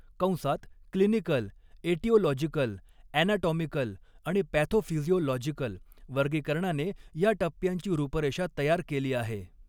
कंसात clinical, aetiological, anatomical आणि pathophysiological वर्गीकरणाने या टप्प्यांची रूपरेषा तयार केली आहे.